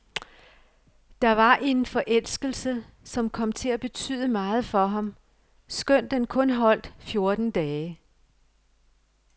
Der var en forelskelse, som kom til at betyde meget for ham, skønt den kun holdt fjorten dage.